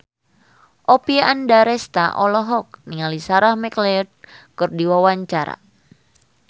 Oppie Andaresta olohok ningali Sarah McLeod keur diwawancara